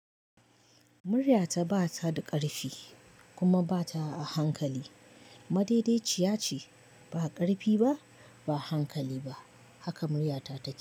Muryata ba ta da ƙarfi kuma ba ta a hankali. Madaidaiciya ce, ba karifi ba, ba hankali ba, haka muryata take.